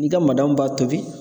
I ka b'a tobi